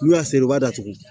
N'u y'a seri u b'a datugu